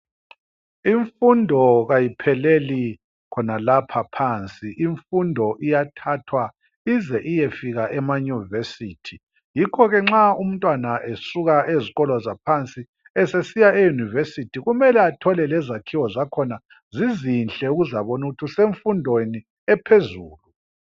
Imfundo kayipheleli khonalapha phansi, imfundo iyathathwa ize iyefika emanyuvesithi, yikho ke nxa umntwana esuka ezikolo zaphansi esesiya e yunivesithi kumele athole lezakhiwo zakhona zizinhle ukuze abone ukuthi usemfundweni ephezulu.